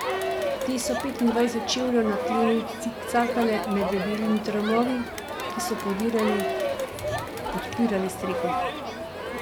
Te so petindvajset čevljev nad tlemi cikcakale med debelimi tramovi, ki so podpirali streho.